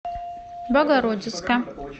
богородицка